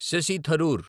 Shashi Tharoor